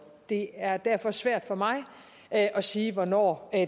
det er derfor svært for mig at at sige hvornår